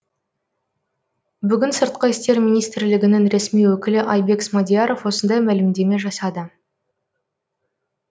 бүгін сыртқы істер министрілігінің ресми өкілі айбек смадияров осындай мәлімдеме жасады